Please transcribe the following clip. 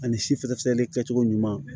Ani si fɛɛrɛ kɛ cogo ɲuman